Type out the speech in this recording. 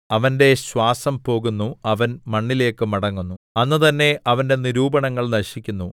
അവന്റെ ശ്വാസം പോകുന്നു അവൻ മണ്ണിലേക്കു മടങ്ങുന്നു അന്ന് തന്നെ അവന്റെ നിരൂപണങ്ങൾ നശിക്കുന്നു